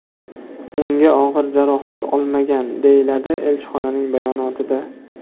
Unga og‘ir jarohat olmagan, deyiladi elchixonaning bayonotida.